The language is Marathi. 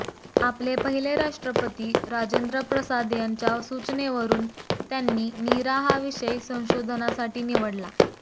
आपले पहिले राष्ट्रपती राजेंद्रप्रसाद यांच्या सूचनेवरून त्यांनी नीरा हा विषय संशोधनासाठी निवडला